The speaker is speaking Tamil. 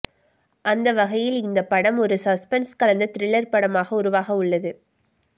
அந்த வகையில் இந்த படம் ஒரு சஸ்பென்ஸ் கலந்த திரில்லர் படமாக உருவாக உள்ளது